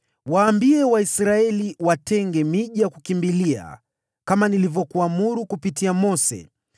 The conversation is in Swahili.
“Waambie Waisraeli, watenge miji mikubwa ya kukimbilia, kama nilivyokuagiza kupitia Mose,